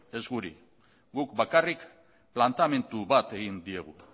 ez guri guk bakarrik planteamendu bat egin diegu